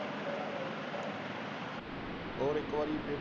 ਹੋਰ ਇੱਕ ਵਾਰੀ।